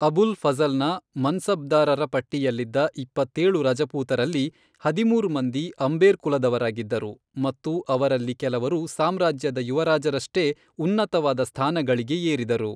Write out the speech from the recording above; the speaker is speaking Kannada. ಅಬುಲ್ ಫಝಲ್ನ ಮನ್ಸಬ್ದಾರರ ಪಟ್ಟಿಯಲ್ಲಿದ್ದ ಇಪ್ಪತ್ತೇಳು ರಜಪೂತರಲ್ಲಿ ಹದಿಮೂರು ಮಂದಿ ಆಂಬೇರ್ ಕುಲದವರಾಗಿದ್ದರು, ಮತ್ತು ಅವರಲ್ಲಿ ಕೆಲವರು ಸಾಮ್ರಾಜ್ಯದ ಯುವರಾಜರಷ್ಟೇ ಉನ್ನತವಾದ ಸ್ಥಾನಗಳಿಗೆ ಏರಿದರು.